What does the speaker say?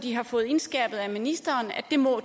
de har fået indskærpet af ministeren